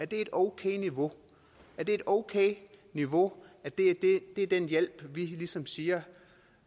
et okay niveau er det et okay niveau at det er den hjælp vi ligesom herindefra siger